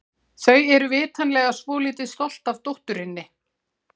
Þau eru vitanlega svolítið stolt af dótturinni.